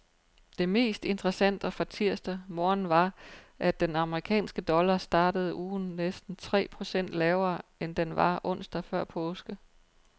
Det mest interessante fra tirsdag morgen var, at den amerikanske dollar startede ugen næsten tre procent lavere, end den var onsdag før påske.